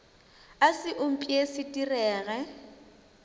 a se upše se direge